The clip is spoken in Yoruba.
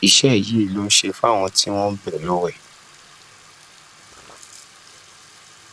iṣẹ yìí ló ń ṣe fáwọn tí wọn ń bẹẹ lọwẹ